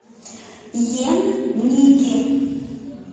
ен ники